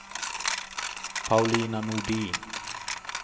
Paulina Nordin